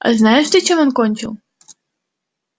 а знаешь ты чем он кончил